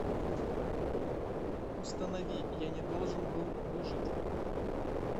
установи я не должен был выжить